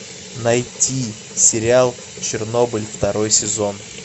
найти сериал чернобыль второй сезон